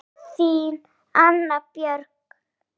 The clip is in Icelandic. Þín, Anna Björg.